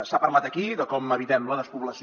s’ha parlat aquí de com evitem la despoblació